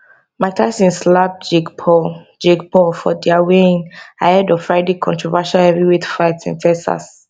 mike tyson slap jake paul jake paul for dia weighin ahead of friday controversial heavyweight fight in texas